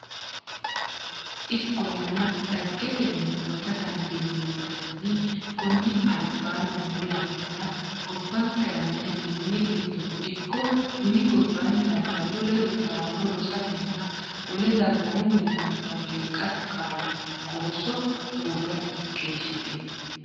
Ikkollana, dhaggetenni huwata dandiineemmo garinni konni alabaanni noo yannara gobbanke meyaati mini giddono ikko mini gob- baanni labballu ledo taalo rosatenna wole dagoomu millimmora beeqqate kaayyonna qoosso hoogge keeshshitino.